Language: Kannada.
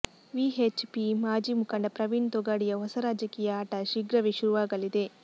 ವಿಹೆಚ್ ಪಿ ಮಾಜಿ ಮುಖಂಡ ಪ್ರವೀಣ್ ತೊಗಾಡಿಯಾ ಹೊಸ ರಾಜಕೀಯ ಆಟ ಶೀಘ್ರವೇ ಶುರುವಾಗಲಿದೆ